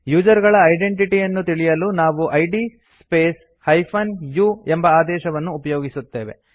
user ಗಳ identity ಯನ್ನು ತಿಳಿಯಲು ನಾವು ಇದ್ ಸ್ಪೇಸ್ - u ಎಂಬ ಆದೇಶವನ್ನು ಉಪಯೋಗಿಸುತ್ತೇವೆ